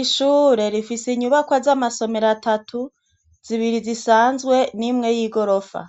Ishure rifise inyubakwa z'amasomero atatu, zibiri zisanzwe n'imwe y'igorofa,